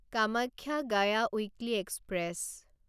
Kamakhya Gaya weekly express